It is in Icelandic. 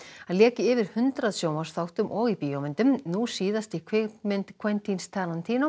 hann lék í yfir hundrað sjónvarpsþáttum og bíómyndum nú síðast í kvikmynd